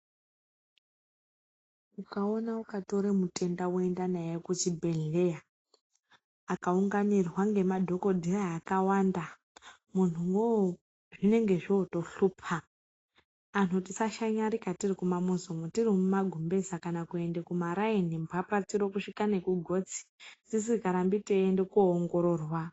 Ukaona ukatora mutenda woenda naye kuchibhedhlera akaunganirwa nemadhokodheya akawanda munhuwo zvinenge zvotohlupa anhu tisashanyarira tiri mumamizi umu tiri mumagumbeza kana kuenda kumaraini mbapatsoro kusvika nekugotsi tisingarambi teienda koongororwa.